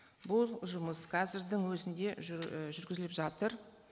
бұл жұмыс қазірдің өзінде і жүргізіліп жатыр